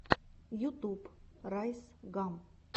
ютюб райс гам